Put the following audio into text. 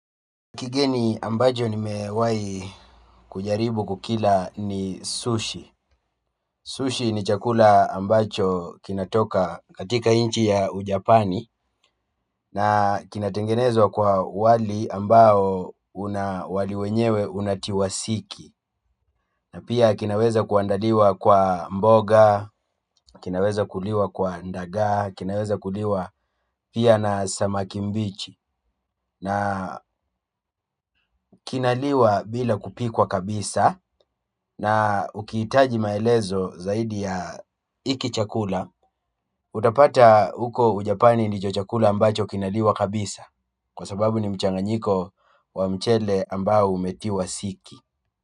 Kigeni ambacho nimewahi kujaribu kukila ni sushi. Sushi ni chakula ambacho kinatoka katika nchi ya Japani na kinatengenezwa kwa wali ambao unawekewa siki. Na pia kinaweza kuandaliwa kwa mboga, kinaweza kuliwa na ndaga, na pia kinaweza kuliwa na samaki mbichi. Na kinaliwa bila kupikwa kabisa na ukiitaji maelezo zaidi ya hiki chakula utapata huko ujapani ndicho chakula ambacho kinaliwa kabisa kwa sababu ni mchanganyiko wa mchele ambao umetiwa siki.